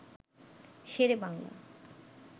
Shere Bangla